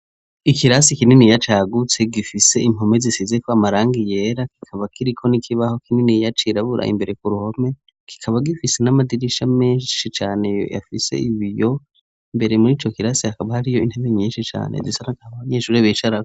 Ikirasi kinini cagutse gifise impome zisizeko amarangi yera kikaba kiriko n'ikibaho kinini cirabura imbere kuruhome kikaba gifise n'amadirisha menshi cane afise Ibiyo mbere murico kirasi hakaba hariyo intebe nyinshi cane zisa nagahama abanyeshure bicarako.